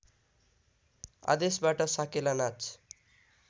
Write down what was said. आदेशबाट साकेला नाच